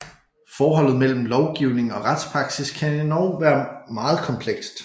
Forholdet imellem lovgivning og retspraksis kan være endog meget komplekst